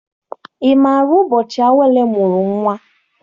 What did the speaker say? Ị maara ụbọchị Awele mụrụ nnwa?